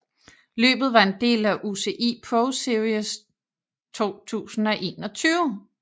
Løbet var en del af UCI ProSeries 2021